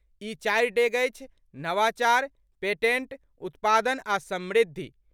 ई चारि डेग अछि नवाचार, पेटेंट, उत्पादन आ समृद्धि।